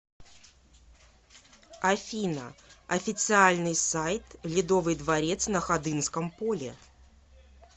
афина официальный сайт ледовый дворец на ходынском поле